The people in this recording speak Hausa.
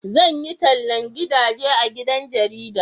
zan yi tallan gidaje a cikin jarida